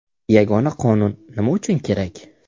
Yagona Qonun nima uchun kerak?